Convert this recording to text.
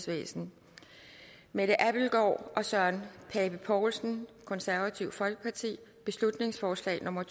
nitten mette abildgaard og søren pape poulsen beslutningsforslag nummer